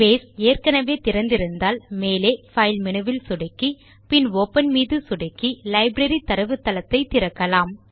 base ஏற்கெனெவே திறந்து இருந்தால் மேலே பைல் மெனுவில் சொடுக்கி பின் ஒப்பன் மீது சொடுக்கி லைப்ரரி தரவுத்தளத்தை திறக்கலாம்